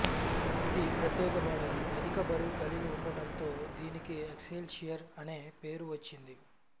ఇది ప్రత్యెకమైనది అధిక బరువు కలిగి ఉండడంతో దీనికి ఎక్సెల్షియర్ అనే పేరు వచ్చింది